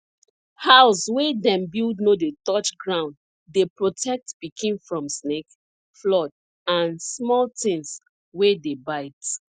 haus wey dem build no dey touch ground dey protect pikin from snake flood an small tins wey dey bite